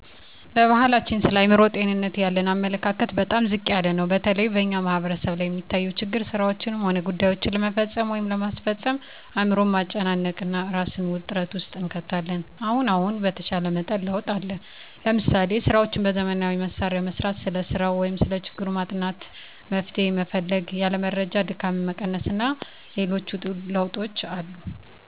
በባሕላችን ስለ አእምሮ ጤንነት ያለን አመለካከት በጣም ዝቅ ያለ ነው። በተለይ በእኛ ማሕበረሰብ ላይ የሚታየው ችግር ስራዎችንም ሆነ ጉዳይዎችን ለመፈፀም ወይም ለማስፈፀም አእምሮን ማጨናነቅ እና እራስን ውጥረት ውስጥ እንከታለን። አሁን አሁን በተሻለ መጠን ለውጥ አለ። ለምሳሌ፦ ስራዎችን በዘመናዊ መሣሪያ መሥራት፣ ስለ ሰራው ወይም ሰለ ችግሩ ማጥናት አና መፍትሔ መፈለግ፣ ያለ መረጃ ድካምን መቀነስ አና ሌሎችም ለውጦች አሉ።